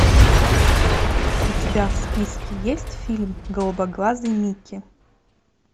у тебя в списке есть фильм голубоглазый микки